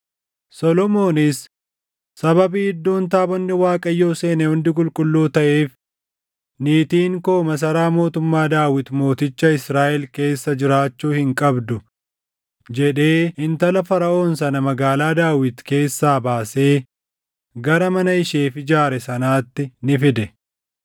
Solomoonis, “Sababii iddoon taabonni Waaqayyoo seene hundi qulqulluu taʼeef, niitiin koo masaraa mootummaa Daawit Mooticha Israaʼel keessa jiraachuu hin qabdu” jedhee intala Faraʼoon sana magaalaa Daawit keessaa baasee gara mana isheef ijaare sanaatti ni fide.